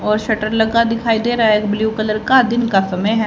और शटर लगा दिखाई दे रहा है एक ब्लू कलर का दिन का समय है।